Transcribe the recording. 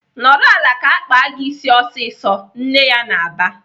"Nọrọ ala ka akpa gị ịsị ọsịsọ!" Nne ya na-aba.